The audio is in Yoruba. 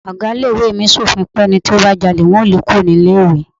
Ọ̀gá ilé ìwé mi sòfin pé ẹni tí ó bá jalè wọn yóò lé e kúrò ní ilé ìwé.